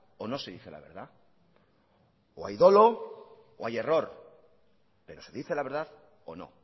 o no se dice la verdad o hay dolo o hay error pero se dice la verdad o no